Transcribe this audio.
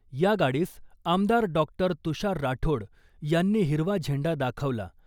या गाडीस आमदार डॉ तुषार राठोड यांनी हिरवा झेंडा दाखवला .